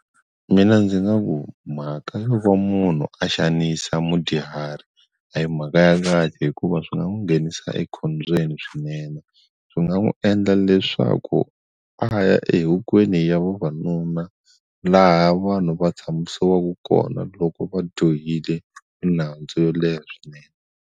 Mina ndzi nga ku mhaka yo va munhu a xanisa mudyuhari a hi mhaka ya kahle hikuva swi nga n'wi nghenisa ekhombyeni swinene swi nga n'wi endla leswaku a ya ehokweni ya vavanuna laha vanhu va tshamisiwaka kona loko va johile minandzu yo leha swinene.